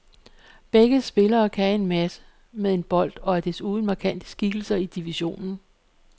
Begge spillere kan en masse med en bold og er desuden markante skikkelser i divisionen.